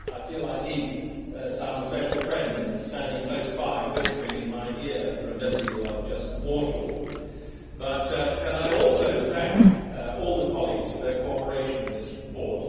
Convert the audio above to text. I feel I need some special friend standing close by whispering in my ear Remember you are only mortal', but can I also thank all the colleagues for their cooperation in this report.